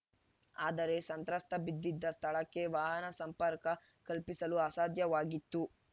ಆದರೆ ಸಂತ್ರಸ್ತ ಬಿದ್ದಿದ್ದ ಸ್ಥಳಕ್ಕೆ ವಾಹನ ಸಂಪರ್ಕ ಕಲ್ಪಿಸಲು ಅಸಾಧ್ಯವಾಗಿತ್ತು